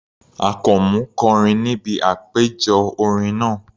Àkànmú kọrin níbi àpéjọ orin náà.